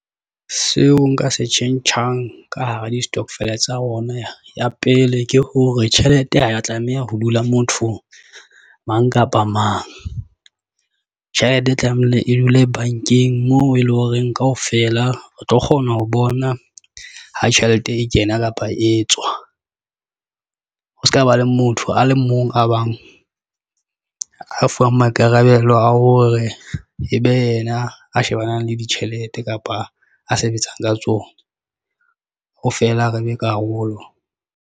Seo nka se tjhentjhang ka hara di-stokvel tsa rona. Ya pele ke hore tjhelete ha ya tlameha ho dula mothong mang kapa mang tjhelete e tlamehile e dule bank-eng moo e leng horeng kaofela. Re tlo kgona ho bona ha tjhelete e kena kapa e tswa. Ho se kaba, le motho a le mong a bang a fuwang maikarabelo a hore e be yena a shebanang le ditjhelete kapa a sebetsang ka tsona, ho fela re le karolo.